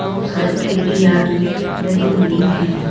खूब सारी खिड़कियां भी लगी हुई हैं।